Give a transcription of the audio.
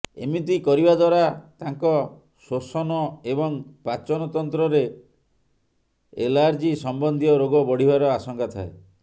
ଏମିିତି କରିବା ଦ୍ୱାରା ତାଙ୍କ ଶ୍ୱସନ ଏବଂ ପାଚନ ତନ୍ତ୍ରରେ ଏଲାର୍ଜୀ ସମ୍ବଦ୍ଧୀୟ ରୋଗ ବଢ଼ିବାର ଆଶଙ୍କା ଥାଏ